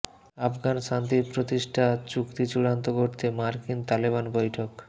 আফগান শান্তি প্রতিষ্ঠা চুক্তি চূড়ান্ত করতে মার্কিন তালেবান বৈঠক